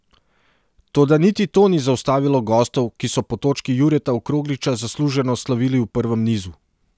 Toda niti to ni zaustavilo gostov, ki so po točki Jureta Okrogliča zasluženo slavili v prvem nizu.